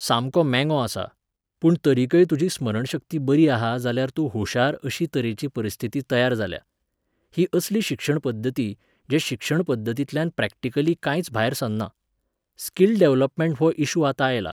सामको मेंगो आसा, पूण तरीकय तुजी स्मरणशक्ती बरी आहा जाल्यार तूं हुशार अशी तरेची परिस्थिती तयार जाल्या. ही असली शिक्षण पद्दती, जे शिक्षण पद्दतींतल्यान प्रॅक्टिकली कांयच भायर सरना. स्किल डॅव्हलपमँट हो इश्यू आतां आयला.